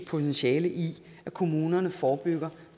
potentiale i at kommunerne forebygger